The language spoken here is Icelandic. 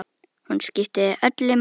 Hún skipti þig öllu máli.